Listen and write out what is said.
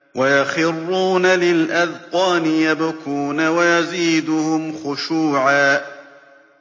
وَيَخِرُّونَ لِلْأَذْقَانِ يَبْكُونَ وَيَزِيدُهُمْ خُشُوعًا ۩